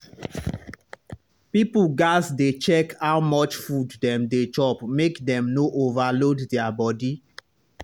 people gats dey check how much food dem dey chop make dem no overload their body.